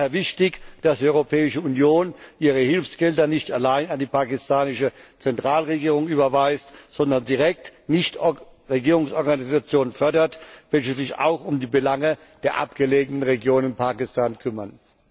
Daher sollte die Europäische Union ihre Hilfsgelder nicht allein an die pakistanische Zentralregierung überweisen, sondern direkt Nichtregierungsorganisationen fördern, welche sich auch um die Belange der abgelegenen Regionen Pakistans kümmern.